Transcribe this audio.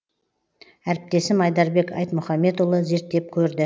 әріптесім айдарбек айтмұханбетұлы зерттеп көрді